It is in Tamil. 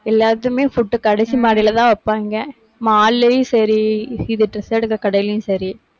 எல்லாத்தையுமே food கடைசி மாடியிலதான் வைப்பாங்க mall லையும் சரி, இது dress எடுக்கிற கடையிலையும் சரி.